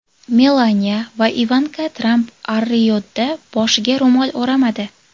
Melaniya va Ivanka Tramp Ar-Riyodda boshiga ro‘mol o‘ramadi.